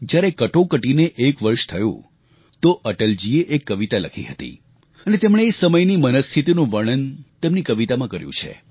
જ્યારે કટોકટીને એક વર્ષ થયું તો અટલજીએ એક કવિતા લખી હતી અને તેમણે એ સમયની મનઃસ્થિતિનું વર્ણન તેમની કવિતામાં કર્યું છે